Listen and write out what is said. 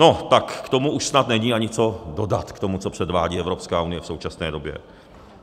No tak k tomu už snad není ani co dodat, k tomu, co předvádí Evropská unie v současné době.